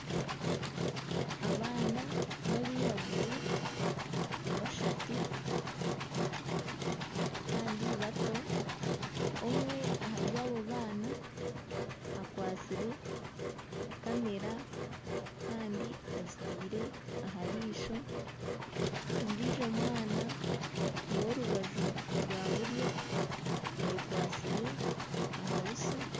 Abaana babairaguju bashatu kandi bato omwe ahari abo baana akwatsire kamera kandi agitaire aha ryisho ondiijo mwana ow'orubaju rwa buryo ayekwatsire aha buso.